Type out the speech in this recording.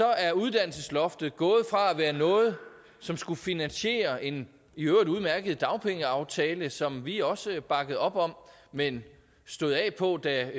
er uddannelsesloftet gået fra at være noget som skulle finansiere en i øvrigt udmærket dagpengeaftale som vi også bakkede op om men stod af på da